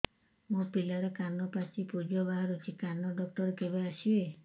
ମୋ ପିଲାର କାନ ପାଚି ପୂଜ ବାହାରୁଚି କାନ ଡକ୍ଟର କେବେ ଆସିବେ